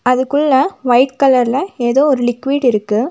அதுக்குள்ள வைட் கலர்ல ஏதோ ஒரு லிக்விட் இருக்கு.